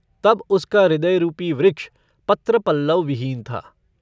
तब उसका हृदय रूपी वृक्ष पत्र-पल्लवविहीन था।